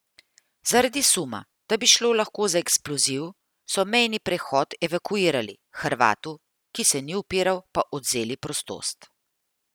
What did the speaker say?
Zaradi suma, da bi šlo lahko za eksploziv so mejni prehod evakuirali, Hrvatu, ki se ni upiral, pa odvzeli prostost.